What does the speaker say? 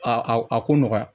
A a ko nɔgɔya